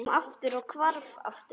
Hann kom og hvarf aftur.